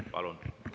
Palun!